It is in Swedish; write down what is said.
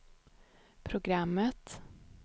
programmet